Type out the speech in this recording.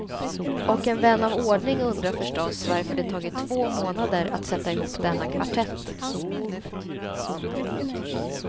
Och en vän av ordning undrar förstås varför det tagit två månader att sätta ihop denna kvartett.